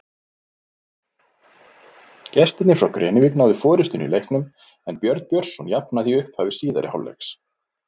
Gestirnir frá Grenivík náðu forystunni í leiknum en Björn Björnsson jafnaði í upphafi síðari hálfleiks.